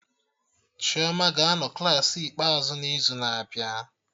Chioma ga-anọ Klassị ikpeazụ n'izu na-abịa